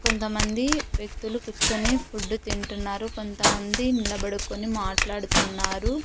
కొంతమంది వ్యక్తులు కూర్చొని ఫుడ్ తింటున్నారు కొంతమంది నిలబడుకొని మాట్లాడుతున్నారు.